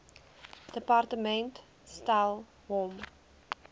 departement stel hom